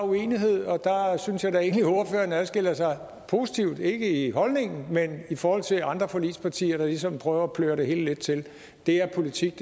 uenighed og der synes jeg da egentlig at ordføreren adskiller sig positivt ikke i holdningen men i forhold til andre forligspartier der ligesom prøver at pløre det hele lidt til det her er politik